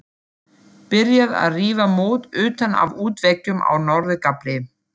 Byrjað að rífa mót utan af útveggjum á norður gafli.